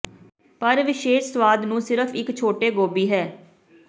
ਪਰ ਵਿਸ਼ੇਸ਼ ਸੁਆਦ ਨੂੰ ਸਿਰਫ਼ ਇੱਕ ਛੋਟੇ ਗੋਭੀ ਹੈ